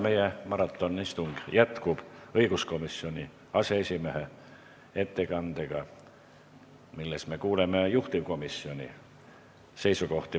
Meie maratonistung jätkub õiguskomisjoni aseesimehe ettekandega, milles me kuuleme juhtivkomisjoni seisukohti.